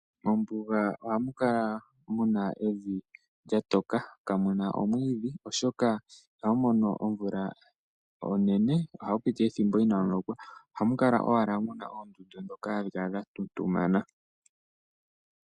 Mombuga ohamu kala muna evi lya toka kamuna omwiidhi, oshoka ihamu mono omvula onene, ohapu piti ethimbo inaamu lokwa. Ohamu kala owala muna oondundu ndhoka hadhi kala dha tuntumana.